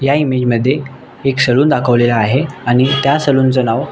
या इमेज मध्ये एक सलुन दाखवलेला आहे आणि त्या सलुन चे नाव--